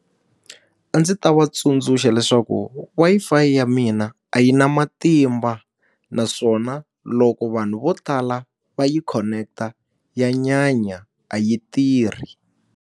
A ndzi ta va tsundzuxa leswaku Wi-Fi ya mina a yi na matimba, naswona loko vanhu vo tala va yi khoneketa ya nyanya, a yi tirhi.